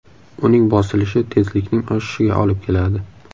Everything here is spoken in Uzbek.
Uning bosilishi tezlikning oshishiga olib keladi.